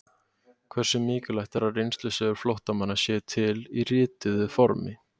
Hversu mikilvægt er að reynslusögur flóttamanna séu til í rituðu formi?